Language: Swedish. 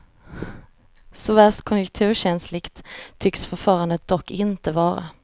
Så värst konjunkturkänsligt tycks förfarandet dock inte vara.